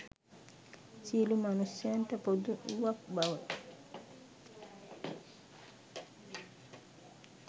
සියලු මනුෂ්‍යයන්ට පොදු වූවක් බව